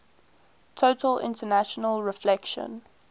total internal reflection